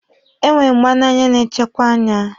E nwere mgba n'anya na-echekwe anya.